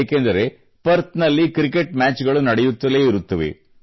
ಏಕೆಂದರೆ ಪರ್ಥ್ ನಲ್ಲಿ cricket match ಗಳು ನಡೆಯುತ್ತಲೇ ಇರುತ್ತವೆ